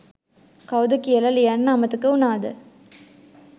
කවුද කියලා ලියන්න අමතක වුනාද?